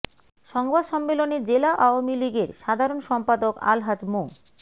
সংবাদ সম্মেলনে জেলা আওয়ামী লীগের সাধারণ সম্পাদক আলহাজ মো